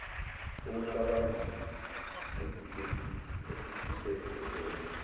okusambambile esifice ekwenza